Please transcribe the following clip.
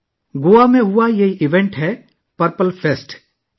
یہ واقعہ Goa purple fest میں پیش آیا